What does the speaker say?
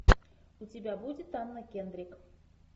у тебя будет анна кендрик